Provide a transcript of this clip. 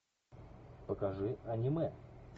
покажи аниме